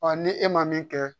ni e ma min kɛ